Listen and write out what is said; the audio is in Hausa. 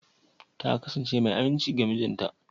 Ta kasance mai aminci ga mijinta?